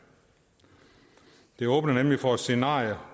det åbner nemlig for et scenarie